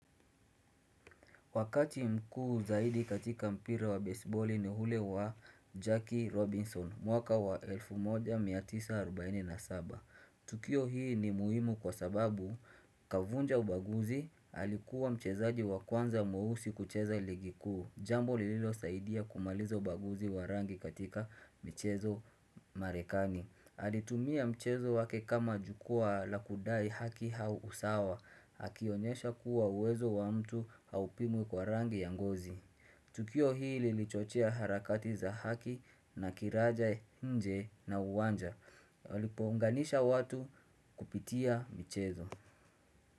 Wakati mkuu zaidi katika mpira wa besiboli ni ule wa Jackie Robinson, mwaka wa 1947. Tukio hii ni muhimu kwa sababu, kavunja ubaguzi, alikuwa mchezaji wa kwanza mweusi kucheza ligi kuu. Jambo lililosaidia kumaliza ubaguzi wa rangi katika michezo marekani. Alitumia mchezo wake kama jukwaa la kudai haki au usawa. Akionyesha kuwa uwezo wa mtu haupimwi kwa rangi ya ngozi Tukio hili lilichochea harakati za haki na kiraja nje na uwanja Lilipounganisha watu kupitia michezo.